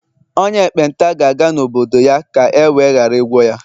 onye ekpenta gāga n'obodo-ya ka ewe ghara igwọ ya